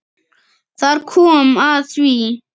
Þar kom að því!